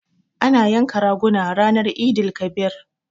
Ana yanka raguna ranan Eid-el-kabir.